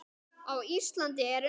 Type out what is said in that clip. Á Íslandi eru um